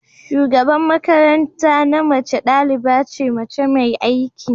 shugaban makaranta na mace daliba ce mace mai aiki